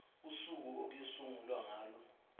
usuku okuyosungulwa ngalo